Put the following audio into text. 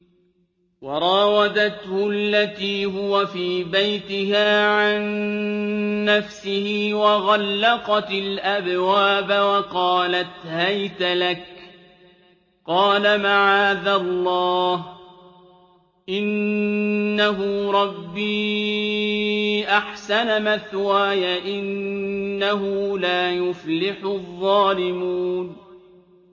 وَرَاوَدَتْهُ الَّتِي هُوَ فِي بَيْتِهَا عَن نَّفْسِهِ وَغَلَّقَتِ الْأَبْوَابَ وَقَالَتْ هَيْتَ لَكَ ۚ قَالَ مَعَاذَ اللَّهِ ۖ إِنَّهُ رَبِّي أَحْسَنَ مَثْوَايَ ۖ إِنَّهُ لَا يُفْلِحُ الظَّالِمُونَ